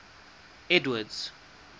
edward's